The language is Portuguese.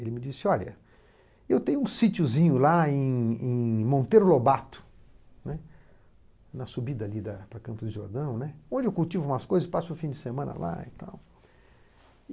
Ele me disse olha, eu tenho um sitiozinho lá em em Monteiro Lobato, né, na subida ali da, para Campos de Jordão, né, onde eu cultivo umas coisas e passo o fim de semana lá e tal.